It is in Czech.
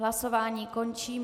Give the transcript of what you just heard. Hlasování končím.